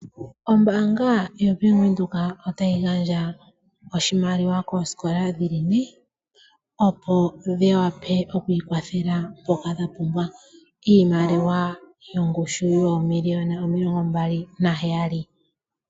Ombaanga yaVenduka otayi gandja oshimaliwa koosikola dhi li ne opo dhi wape oku ikwathela mpoka dha pumbwa, Iimaliwa oyo ngushu yoomiliyona omilongo mbali naheyali.